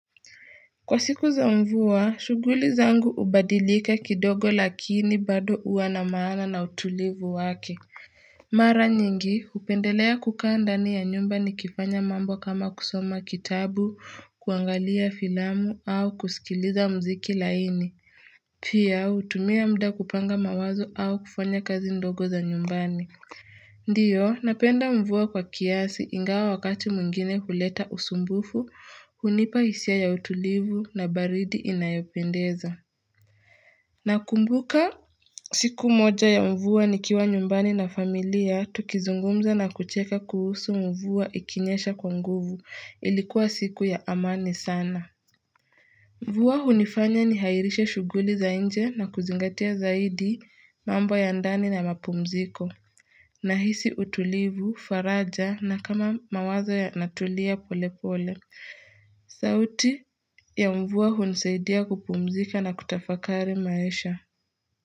Kwa siku za mvuwa, shuguli zangu ubadilika kidogo lakini bado uwa na maana na utulivu wake. Mara nyingi, hupendelea kukaa ndani ya nyumba nikifanya mambo kama kusoma kitabu, kuangalia filamu au kusikiliza mziki laini. Pia, utumia mda kupanga mawazo au kufanya kazi ndogo za nyumbani. Ndiyo, napenda mvua kwa kiasi ingawa wakati mwingine huleta usumbufu, hunipa hisia ya utulivu na baridi inayopendeza. Nakumbuka siku moja ya mvua nikiwa nyumbani na familia, tukizungumza na kucheka kuhusu mvua ikinyesha kwa nguvu, ilikuwa siku ya amani sana. Mvua hunifanya nihairishe shuguli za inje na kuzingatia zaidi mambo ya ndani na mapumziko. Nahisi utulivu, faraja na kama mawazo yanatulia pole pole. Sauti ya mvuwa hunisaidia kupumzika na kutafakari maisha.